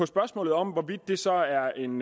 spørgsmålet om hvorvidt det så er en